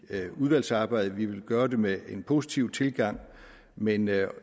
udvalgsarbejdet vi vil gøre det med en positiv tilgang men